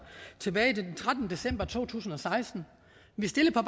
den trettende december to tusind og seksten vi stillede på